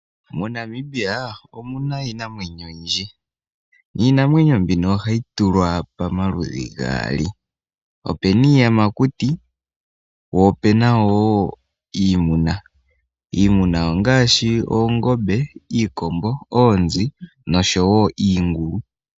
MoNamibia omu na iinamwenyo oyindji niinamwenyo mbino, oha yi tulwa pama ludhi gaali. Opena iiyamakuti wo opena woo iimuna. Iimuna ongaashi oongombe, iikombo, oonzi nosho woo iingulu.